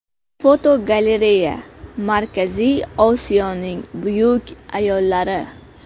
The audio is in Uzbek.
Fotogalereya: Markaziy Osiyoning buyuk ayollari.